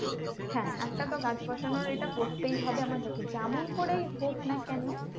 হ্যাঁ একটা তো গাছ বসানোর এটা করতেই হবে আমাদেরকে যেমন করেই হোক না কেন